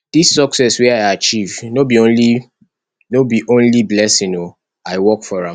dis success wey i achieve no be only no be only blessing o i work for am